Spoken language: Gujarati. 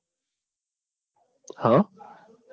હા